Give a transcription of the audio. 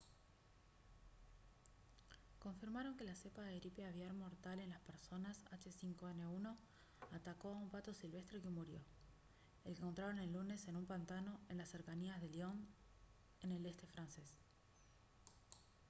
confirmaron que la cepa de gripe aviar mortal en las personas h5n1 atacó a un pato silvestre que murió al que encontraron el lunes en un pantano en las cercanías de lyon en el este francés